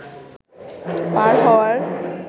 পার হওয়ার